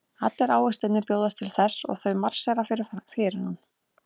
Allir ávextirnir bjóðast til þess og þau marsera fyrir hann.